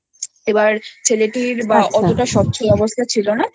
এবার ছেলেটির অত স্বচ্ছল অবস্থা ছিল না তো